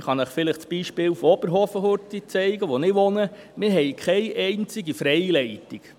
Ich kann Ihnen vielleicht das Beispiel von Oberhofen aufzeigen, wo ich wohne: Wir haben keine einzige Freileitung.